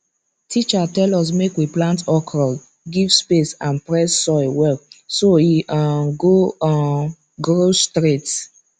teacher tell us make we plant okra give space and press soil well so e um go um grow straight